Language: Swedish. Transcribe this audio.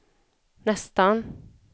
nästan